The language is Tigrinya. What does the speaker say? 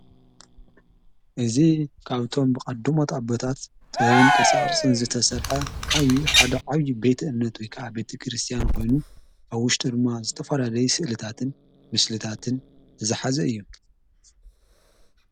እዝ ቃብቶም ብቐዱ መጣበታት ጥብን ቅርፃቕርጽን ዝተሠርሐ ኃዊ ሓደ ዓዪ ቤት እነት ወከዓ ቤቲ ክርስቲያን ኾይኑ ኣብ ውሽ ድርማ ዘተፈረለይ ሥእልታትን ምስልታትን እዝኃዚ እዩ።